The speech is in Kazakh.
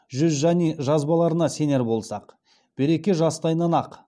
жүзжани жазбаларына сенер болсақ береке жастайынан ақ